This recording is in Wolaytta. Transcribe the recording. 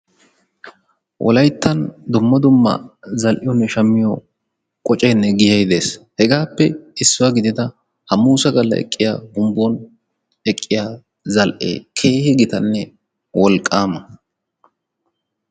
wolayittan dumma dumma zal"iyoonne shammiyoo qocayinne giyayi dees. hegaappe issuwaa gidida hammusa galla eqqiyaa humbbon eqqiyaa zal"ee keehi gitanne wolqqaama.